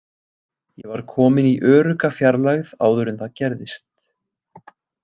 Ég var kominn í örugga fjarlægð áður en það gerðist.